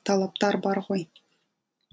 талаптар бар ғой